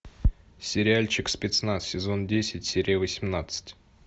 сериальчик спецназ сезон десять серия восемнадцать